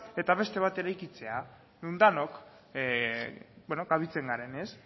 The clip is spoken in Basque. eta beste bat eraikitzea non danok kabitzen garen